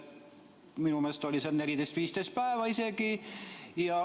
Minu meelest oli seal 14–15 päeva isegi.